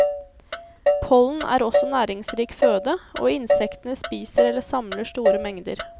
Pollen er også næringsrik føde, og insektene spiser eller samler store mengder.